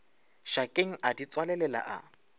šakeng a di tswalelela a